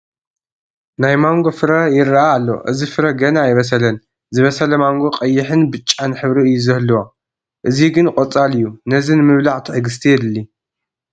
ናይ ማንጐ ፍረ ይርአ ኣሎ፡፡ እዚ ፍረ ገና ኣይበሰለን፡፡ ዝበሰለ ማንጐ ቀይሕን ብጫን ሕብሪ እዩ ዝህልዎ፡፡ እዚ ግን ቆፃል እዩ፡፡ ነዚ ንምብላዕ ትዕግስቲ የድሊ፡፡